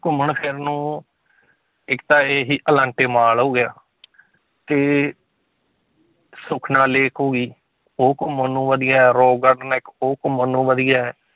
ਘੁੰਮਣ ਫਿਰਨ ਨੂੰ ਇੱਕ ਤਾਂ ਇਹੀ ਅਲਾਂਟੇ ਮਾਲ ਹੋ ਗਿਆ ਤੇ ਸੁਖਨਾ lake ਹੋ ਗਈ, ਉਹ ਘੁੰਮਣ ਨੂੰ ਵਧੀਆ ਹੈ rock garden ਹੈ ਇੱਕ ਉਹ ਘੁੰਮਣ ਨੂੰ ਵਧੀਆ ਹੈ,